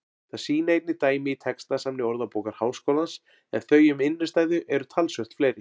Það sýna einnig dæmi í textasafni Orðabókar Háskólans en þau um innstæðu eru talsvert fleiri.